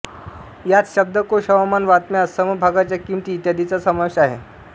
यांत शब्दकोश हवामान बातम्या समभागांच्या किमती इत्यादींचा समावेश आहे